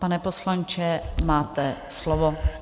Pane poslanče, máte slovo.